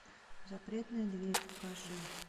запретная дверь покажи